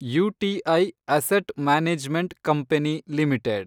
UTI asset management company limited